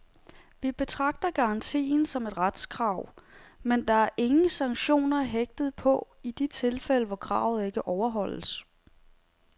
Vi betragter garantien som et retskrav, men der er ingen sanktioner hægtet på i de tilfælde, hvor kravet ikke overholdes.